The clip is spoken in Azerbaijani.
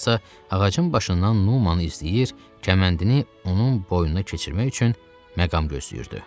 Tarzansa ağacın başından Numanı izləyir, kəməndini onun boynuna keçirmək üçün məqam gözləyirdi.